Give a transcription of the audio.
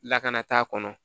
Lakana t'a kɔnɔ